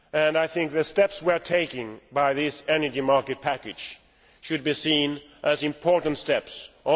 I think the steps we are taking with this energy market package should be seen as important ones.